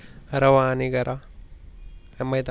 रवा आणि गरा, मैदा